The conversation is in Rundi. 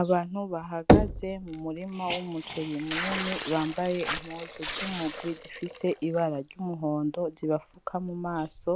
Abantu bahagaze mu murima w'umuceri munini, bambaye impuzu z'umugwi zifis'ibara ry'umuhondo, zibafuka mu maso